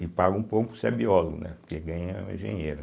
E paga um pouco porque se é biólogo, né, porque ganha o engenheiro.